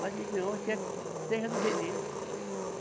Mas não, quer que seja do jeito deles.